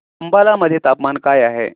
अंबाला मध्ये तापमान काय आहे